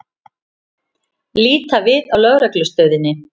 Líta við á Lögreglustöðinni.